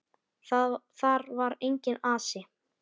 Þar var enginn asi.